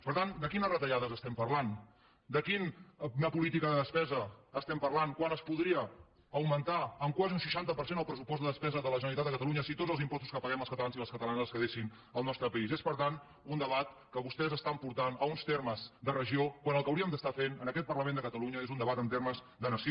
per tant de quines retallades estem parlant de quina política de despesa estem parlant quan es podria augmentar en quasi un seixanta per cent el pressupost de despesa de la generalitat de catalunya si tots els impostos que paguem els catalans i les catalanes es quedessin al nostre país és per tant un debat que vostès estan portant a uns termes de regió quan el que hauríem d’estar fent en aquest parlament de catalunya és un debat en termes de nació